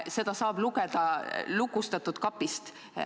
Seda saab lugeda lukustatud kapist.